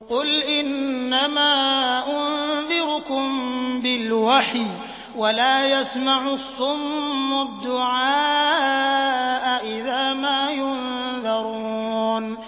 قُلْ إِنَّمَا أُنذِرُكُم بِالْوَحْيِ ۚ وَلَا يَسْمَعُ الصُّمُّ الدُّعَاءَ إِذَا مَا يُنذَرُونَ